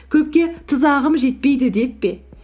көпке тұзағым жетпейді деп пе